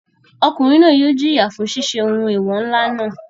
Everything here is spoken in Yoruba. Ọkùnrin náà yóò jìyà fún ṣiṣẹ́ ohun eewọ ńlá náà.